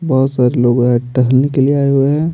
बहुत सारे लोग है टहलने के लिए आए हुए हैं।